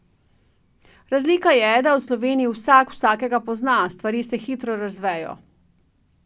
Razlika je, da v Sloveniji vsak vsakega pozna, stvari se hitro razvejo.